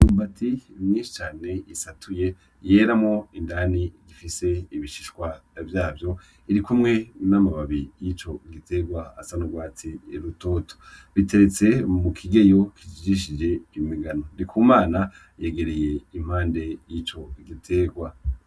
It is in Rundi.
Imyumbati myinshi cane isatuye yera indani ifise ibishishwa vyavyo, irikumwe n'amababi yico giterwa asa n'urwatsi rutoto iteretse mu kigeyo kijishe mu migano. Ndikumana yegereye impande y'ico giterwa.